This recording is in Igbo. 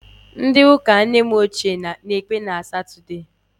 Ndị ụka nne m ochie na-ekpe na Satọdee